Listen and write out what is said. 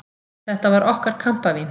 Þetta var okkar kampavín!